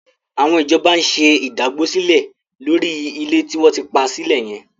Àwọn ìjọba ń ṣe ìdágbósílẹ̀ lórí ilẹ̀ tí wọ́n ti pa sílẹ̀ yẹn.